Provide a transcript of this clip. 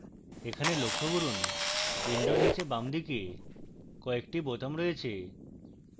এখানে লক্ষ্য করুন window নীচে বামদিকে কয়েকটি বোতাম রয়েছে